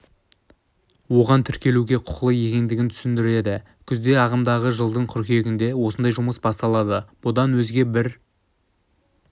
оған тіркелуге құқылы екенін түсіндірді күзде ағымдағы жылдың қыркүйегінде осындай жұмыс басталады бұдан өзге бір